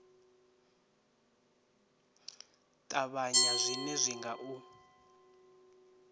ṱavhanya zwine zwi nga u